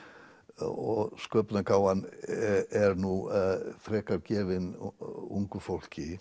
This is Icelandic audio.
og sköpunargáfan er nú frekar gefin ungu fólki